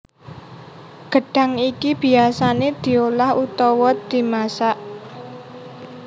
Gedhang iki biyasane diolah utawa dimasak